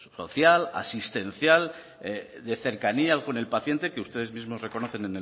social asistencial de cercanía con el paciente que ustedes mismos reconocen